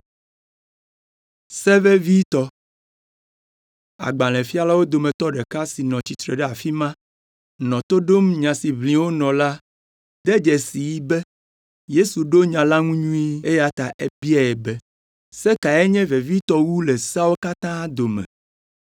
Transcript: Agbalẽfialawo dometɔ ɖeka si nɔ tsitre ɖe afi ma, nɔ to ɖom nya si ʋlim wonɔ la do dzesii be, Yesu ɖo nya la ŋu nyuie, eya ta ebiae be, “Se kae nye vevitɔ wu le seawo katã dome?”